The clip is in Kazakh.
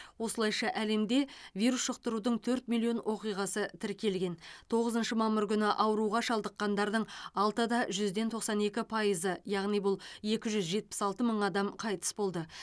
осылайша әлемде вирус жұқтырудың төрт миллион оқиғасы тіркелген тоғызыншы мамыр күні ауруға шалдыққандардың алтыда жүзден тоқсан екі пайызы яғни бұл екі жүз жетпіс алты мың адам қайтыс болды